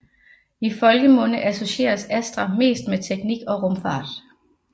I folkemunde associeres Astra mest med teknik og rumfart